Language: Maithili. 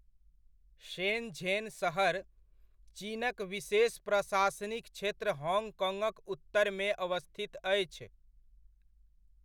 शेनझेन सहर, चीनक विशेष प्रशासनिक क्षेत्र हॉङ्गकॉङ्गक उत्तरमे अवस्थित अछि।